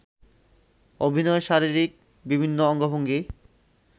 অভিনয়ে শারীরিক বিভিন্ন অঙ্গভঙ্গি